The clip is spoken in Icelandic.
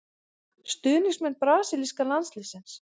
Stuðningsmenn brasilíska landsliðsins.